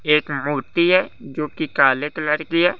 ये एक मूर्ति है जो की काले कलर की है।